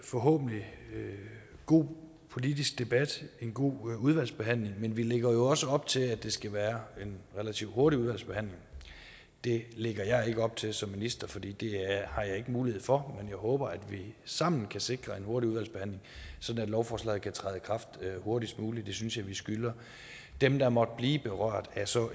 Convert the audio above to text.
forhåbentlig god politisk debat en god udvalgsbehandling men vi lægger jo også op til at det skal være en relativt hurtig udvalgsbehandling det lægger jeg så ikke op til som minister for det har jeg ikke mulighed for men jeg håber at vi sammen kan sikre en hurtig udvalgsbehandling sådan at lovforslaget kan træde i kraft hurtigst muligt det synes jeg at vi skylder dem der måtte blive berørt af en så